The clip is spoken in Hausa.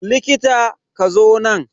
Likita, ka zo nan.